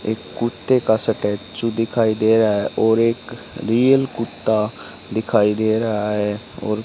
एक कुत्ते का स्टेचू दिखाई दे रहा है और एक रियल कुत्ता दिखाई दे रहा है और --